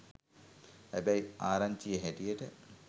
හැබැයි ආරංචියෙ හැටියට